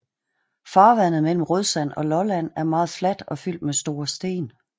Farvandet mellem Rødsand og Lolland er meget fladt og fyldt med store sten